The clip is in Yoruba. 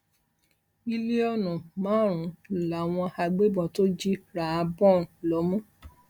mílíọnù márùnún làwọn agbébọn tó jí ráhábón lómú